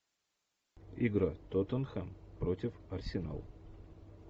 игра тоттенхэм против арсенал